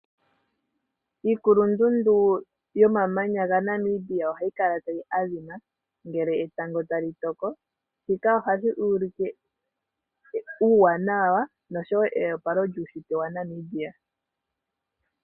Iikulundundu yomamanya gaNamibia oha yikala ta yi adhima ngele etango ta li toko, shika oha shi ulike uuwanawa nosho woo eyopalo lyuushitwe waNamibia.